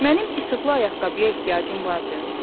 Mənim işıqlı ayaqqabıya ehtiyacım vardı?